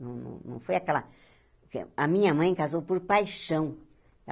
Não não não foi aquela... A minha mãe casou por paixão.